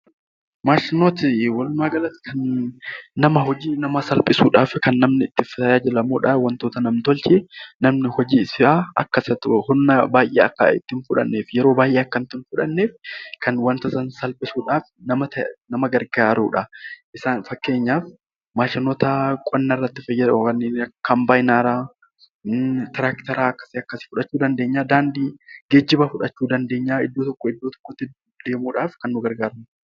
Maashinoonni walumaa galatti kan hojii namaa salphisuudhaaf kan namni itti tajaajilamudha. Namni hojiisaa humna baay'ee Akka itti hin fudhannee fi yeroo baay'ee itti hin fudhanneef kan yeroo baay'ee wantoota salphisuudhaaf nama gargaarudha. Fakkeenyaaf maashinoota qonnarratti fayyadan kombaayinara, tiraaktara fudhachuu dandeenya geejjiba fudhachuu dandeenya iddoo tokkoo gara biraatti deemuuf kan nu gargaaruda.